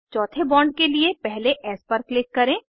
चौथे बॉन्ड के लिए पहले एस पर क्लिक करें